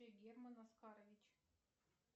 герман оскарович